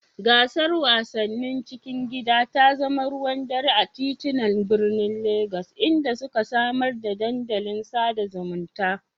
Gasar wasannin cikin gida ta zama ruwan dare a titunan birnin Legas, inda suka samar da dandalin sada zumunta.